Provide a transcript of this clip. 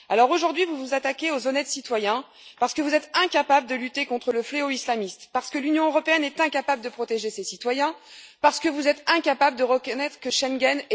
Aujourd'hui, vous vous attaquez aux honnêtes citoyens parce que vous êtes incapables de lutter contre le fléau islamiste, parce que l'Union européenne est incapable de protéger ses citoyens, parce que vous êtes incapables de reconnaître l'échec de Schengen.